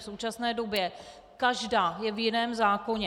V současné době každá je v jiném zákoně.